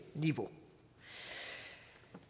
niveau